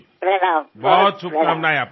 আপনাকে অনেক শুভেচ্ছা